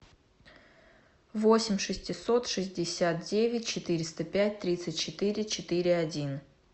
восемь шестьсот шестьдесят девять четыреста пять тридцать четыре четыре один